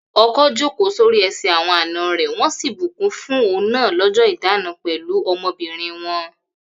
Ọkọ jókòó sórí ẹsẹ̀ àwọn àna rẹ̀ wọ́n sì bùkún fún òun náà lọ́jọ́ ìdána pẹ̀lú ọmọbìnrin wọn.